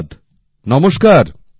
ধন্যবাদ নমস্কার